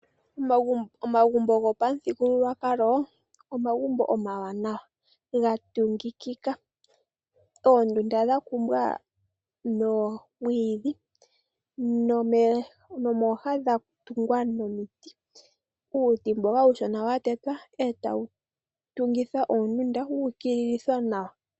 Omagumbo gopamuthugululwakalo omagumbo omawanawa gatungikika. Oondunda dhakumbwa noomwiidhi nomooha dhatungwa nomiti, uuti mboka uushona watetwa etawutungitha oondunda wuukililithwa nawa.